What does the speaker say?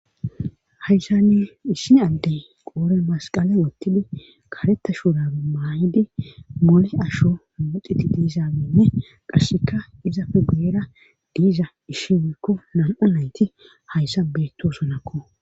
haysani issin addey qoore masqale wottidi karetta shuurabe maayidi mole asho moxiti diizaaminne qasseka izafe beera diiza ishi weykko nam7a nayti hayssa beettosonakko